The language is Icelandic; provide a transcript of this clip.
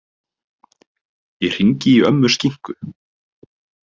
Ég hringi í ömmu Skinku.